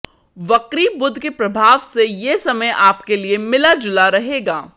वक्री बुध के प्रभाव से ये समय आपके लिए मिलाजुला रहेगा